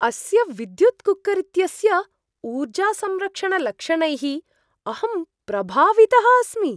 अस्य विद्युत् कुक्कर् इत्यस्य ऊर्जासंरक्षणलक्षणैः अहं प्रभावितः अस्मि!